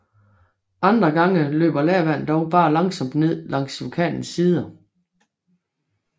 Andre gange løber lavaen dog bare langsomt ned langs vulkanens sider